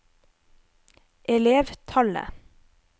elevtallet